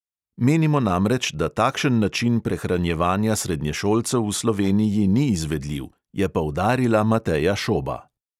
"Menimo namreč, da takšen način prehranjevanja srednješolcev v sloveniji ni izvedljiv," je poudarila mateja šoba.